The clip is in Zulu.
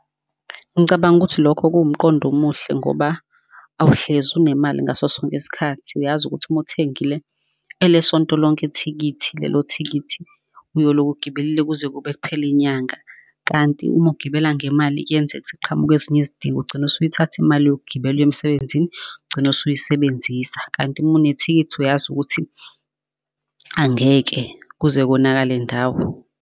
Ngicabanga ukuthi lokho kuwumqondo omuhle, ngoba awuhlezi unemali ngaso sonke isikhathi. Uyazi ukuthi uma uthengile ele sonto lonke ithikithi, lelo thikithi uyoloku ugibelile kuze kube kuphela inyanga. Kanti uma ugibela ngemali kuyenzeka, ukuthi kuqhamuke ezinye izidingo, ugcine usuyithatha imali yokugibela uye emsebenzini ugcine usuyisebenzisa. Kanti uma unethikithi, uyazi ukuthi angeke kuze konakale ndawo.